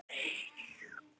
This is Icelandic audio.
Höfum við ekki sést áður?